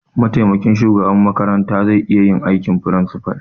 Mataimakin shugaban makarantar zai iya aikin principal.